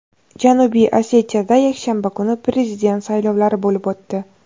Janubiy Osetiyada yakshanba kuni prezident saylovlari bo‘lib o‘tdi.